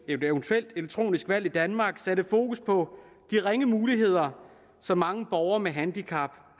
et eventuelt elektronisk valg i danmark satte fokus på de ringe muligheder som mange borgere med handicap